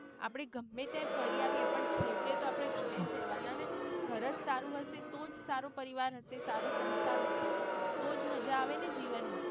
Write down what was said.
આપળે ગમે ત્યાં ફરી આવીયે પણ છેવટે તો આપડે ઘરે જ રહેવાના ને ઘર જ સારું હશે તો જ સારું પરિવાર હશે સારું સંસાર હશે તો જ માજા આવે ને જીવન માં.